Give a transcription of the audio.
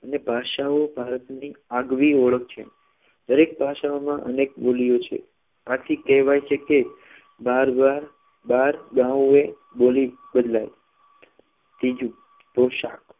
અને ભાષાઓ ભારતની આગવી ઓળખ છે દરેક ભાષાના અનેક મૂલ્ય છે આથીકહેવાય છે કે બહાર દાવ બહાર દાવે બોલી બદલાય ત્રીજું પોશાક